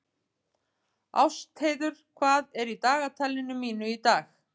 Ástheiður, hvað er í dagatalinu mínu í dag?